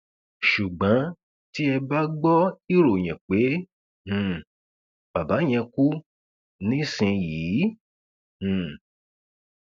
ṣùgbọn tí ẹ bá gbọ ìròyìn pé um bàbá yẹn kú nísìnyìí um